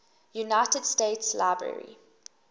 united states library